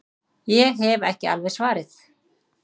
Ég hef ekki alveg svarið.